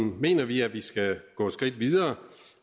mener vi at vi skal gå et skridt videre